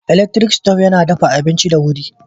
Elaktirik sitob yana dafa abinci da wuri.